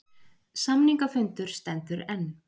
Samningafundur stendur enn